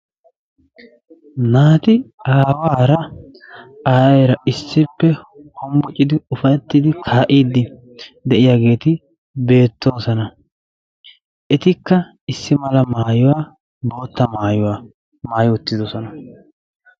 Naati aawaara aayeera issippe homboccidi ufaytidi kaa'iddi de'iyageeti beetoosona. Etikka issi mala maayuwa bootta maayuwa maayi uttidosona.